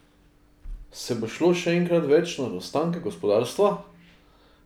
Se bo šlo še enkrat več nad ostanke gospodarstva?